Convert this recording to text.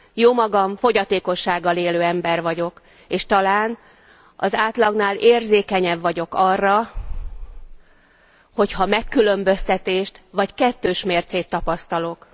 Jómagam fogyatékossággal élő ember vagyok, és talán az átlagnál érzékenyebb vagyok arra, hogyha megkülönböztetést vagy kettős mércét tapasztalok.